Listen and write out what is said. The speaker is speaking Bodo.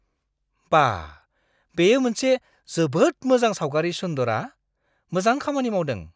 बा! बेयो मोनसे जोबोद मोजां सावगारि सुन्दरा! मोजां खामानि मावदों।